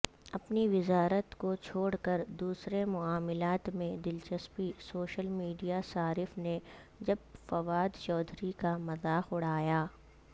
اپنی وزارت کوچھوڑ کر دوسرے معاملات میں دلچسپی سوشل میڈیاصارف نے جب فوادچوہدری کامذاق اڑایا